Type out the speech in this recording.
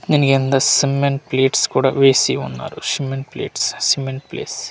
Cement plates కూడా వేసి ఉన్నారు సిమెంట్ ప్లేట్స్ సిమెంట్ ప్లేస్ .